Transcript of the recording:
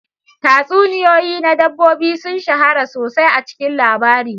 Tatsuniyoyi na dabbobi sun shahara sosai a cikin labari.